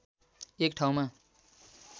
एक ठाउँमा